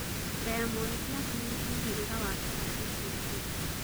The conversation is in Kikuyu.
Diamond platinumz mũhĩriga wake wa gũcĩarwo